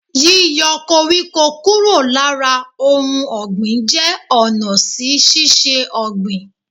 Yíyo koríko kúrò lára ohun ògbìn jé ònà sísisé ògbìn